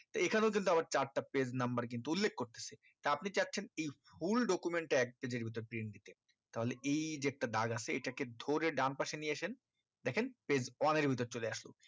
এই খানেও কিন্তু আবার চারটা page number কিন্তু উল্লেখ করতেছে তা আপনি চাচ্ছেন এই full document টা এক page এর ভিতর print দিতে তাহলে এই যে একটা দাগ আছে এই টাকে ধরে ডান পাশে নিয়ে আসেন দেখেন page one এর ভিতর চলে আসলো